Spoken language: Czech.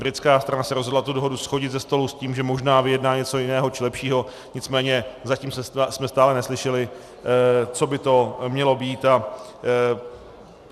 Britská strana se rozhodla tu dohodu shodit ze stolu s tím, že možná vyjedná něco jiného či lepšího, nicméně zatím jsme stále neslyšeli, co by to mělo být.